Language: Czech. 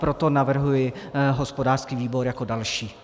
Proto navrhuji hospodářský výbor jako další.